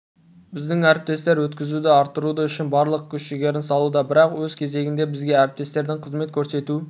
біздің әріптестер өткізуді арттыруы үшін барлық күш-жігерін салуда бірақ өз кезегінде бізге әріптестердің қызмет көрсету